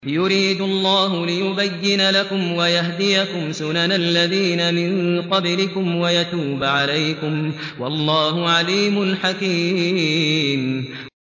يُرِيدُ اللَّهُ لِيُبَيِّنَ لَكُمْ وَيَهْدِيَكُمْ سُنَنَ الَّذِينَ مِن قَبْلِكُمْ وَيَتُوبَ عَلَيْكُمْ ۗ وَاللَّهُ عَلِيمٌ حَكِيمٌ